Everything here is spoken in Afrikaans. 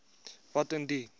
wat in die